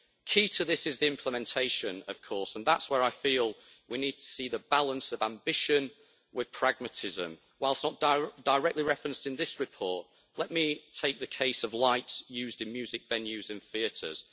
Key to this is the implementation, of course, and that is where I feel we need to see the balance of ambition with pragmatism. Whilst not directly referenced in this report, let me take the case of lights used in music venues and theatres.